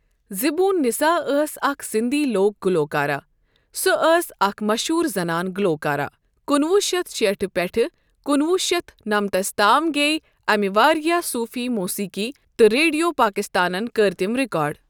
زِبُون نِسا أس اَکھ سندی لوک گلوکارہ۔ سَہ أس اَکھ مَشہوٗر زنان گلوکارہ۔ کُنہٕ وُہ شیٚتھ شیٹھ پؠٹھ کُنہٕ وُہ شیٚتھ نمتس تام گیے امِہ واریاہ سوفی موسیٖقی تہٕ ریڈو پاکستانن کٔرۍ تِم رکاڈ.